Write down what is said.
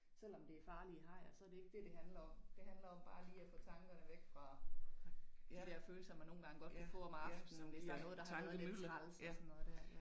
Selvom det farlige hajer så det ikke det det handler om det handler om bare lige at få tankerne væk fra de der følelser man nogle gange godt kan få om aftenen hvis der er noget, der har været lidt træls og sådan noget der